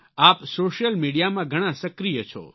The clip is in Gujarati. આપ સોશિયલ મીડિયામાં ઘણાં સક્રિય છો